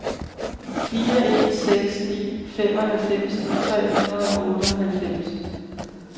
fire en seks ni femoghalvfems tre hundrede og otteoghalvfems